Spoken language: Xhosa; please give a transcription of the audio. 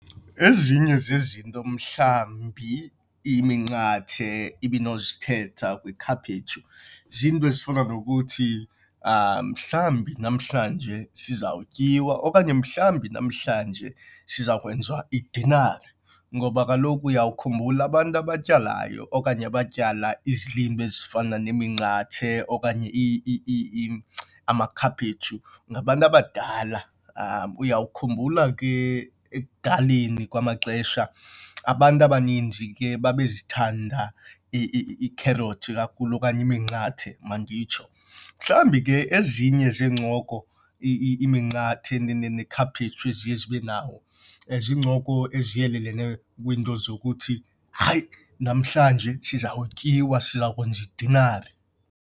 Ezinye zezinto mhlawumbi iminqathe ibinozithetha kwikhaphetshu ziinto ezifana nokuthi mhlawumbi namhlanje sizawutyiwa okanye mhlawumbi namhlanje siza kwenziwa idinara. Ngoba kaloku uyawukhumbula abantu abatyalayo okanye abatyala izilimi ezifana neminqathe okanye amakhaphetshu ngabantu abadala. Uyawukhumbula ke ekudaleni kwamaxesha abantu abaninzi ke babe zithanda iikherothi kakhulu okanye iminqathe manditsho. Mhlawumbi ke ezinye zeencoko iminqathe nekhaphetshu eziye zibe nawo, ziincoko eziyeleleneyo kwiinto zokuthi, hayi, namhlanje sizawutyiwa, sizakwenza idinara.